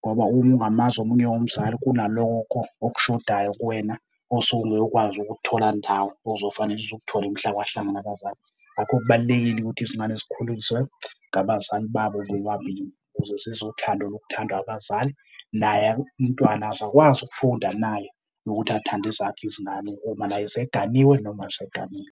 Ngoba uma ungamazi omunye umzali kunalokho okushodayo kuwena osuke ungeke ukwazi ukukuthola ndawo, ozofanele uze ukuthole mhla wahlangana nabazali. Ngakho kubalulekile ukuthi izingane zikhuliswe ngabazali babo bobabili ukuze zizwe uthando lokuthandwa abazali. Naye umntwana azakwazi ukufunda naye nokuthi athande ezakhe izingane uma naye eseganiwe noma eseganile.